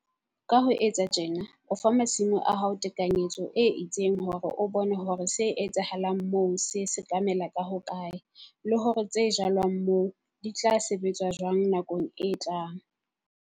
Ka ho etsa tjena o fa masimo a hao tekanyetso e itseng hore o bone hore se etsahalang moo se sekamela ka hokae, le hore tse jalwang moo di tla sebetswa jwang nakong e tlang.